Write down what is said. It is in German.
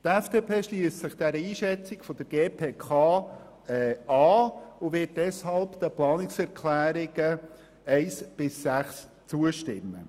Die FDP schliesst sich der Einschätzung der GPK an und wird deshalb den Planungserklärungen 1 bis 6 zustimmen.